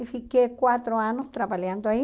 e fiquei quatro anos trabalhando aí